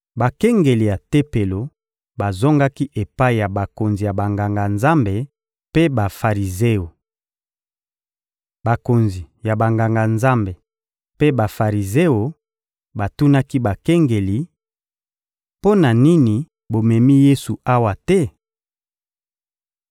Bakengeli ya Tempelo bazongaki epai ya bakonzi ya Banganga-Nzambe mpe Bafarizeo. Bakonzi ya Banganga-Nzambe mpe Bafarizeo batunaki bakengeli: — Mpo na nini bomemi Yesu awa te?